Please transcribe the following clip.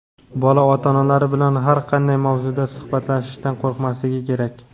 Bola ota-onalar bilan har qanday mavzuda suhbatlashishdan qo‘rqmasligi kerak.